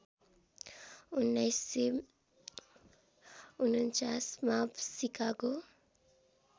१९४९ मा सिकागो